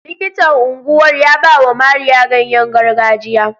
Likitan unguwar ya bawa Mariya ganyengargajiya.